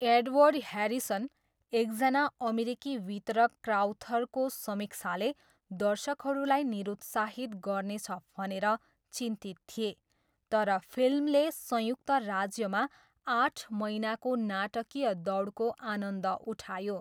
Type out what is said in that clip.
Edward Harrison, एकजना अमेरिकी वितरक क्राउथरको समीक्षाले दर्शकहरूलाई निरुत्साहित गर्नेछ भनेर चिन्तित थिए, तर फिल्मले संयुक्त राज्यमा आठ महिनाको नाटकीय दौडको आनन्द उठायो।